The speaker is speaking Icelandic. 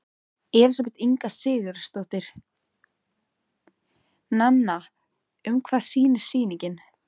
Elísabet Inga Sigurðardóttir: Nanna, um hvað snýst sýningin?